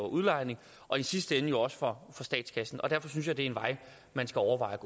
udlejning og i sidste ende jo også for statskassen derfor synes jeg det er en vej man skal overveje